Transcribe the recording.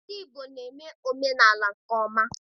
Ndị Igbo na-eme omenaala nke ọma.